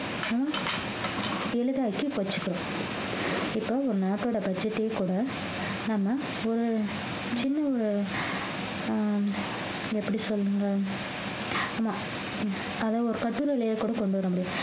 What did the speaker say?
ஹம் வச்சிக்கிறோம் இப்ப ஒரு நாட்டோட budget ஏ கூட நம்ம ஒரு சின்ன ஒரு ஆஹ் எப்படி சொல்லுங்க ஆமா அதை ஒரு கூட கொண்டு வர முடியும்